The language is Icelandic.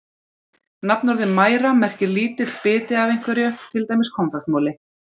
Nafnorðið mæra merkir lítill biti af einhverju, til dæmis konfektmoli.